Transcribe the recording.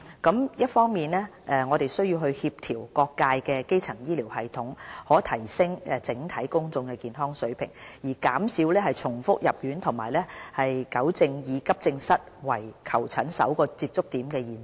我們一方面需要協調各界的基層醫療系統，以提升整體公眾健康的水平，減少重複入院和糾正以急症室為求診首個接觸點的現象。